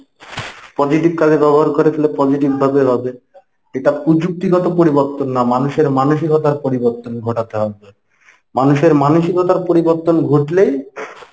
positive কাজে ব্যবহার করে তালে positive ভাবে হবে। এটা পযু্ক্তিগত পরিবর্তন না মানুষের মানসিকতার পরিবর্তন ঘটাতে হবে। মানুষের মানুসিকতার পরিবর্তন ঘটলেই